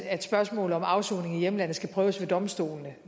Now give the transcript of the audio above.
at spørgsmål om afsoning i hjemlandet skal prøves ved domstolene og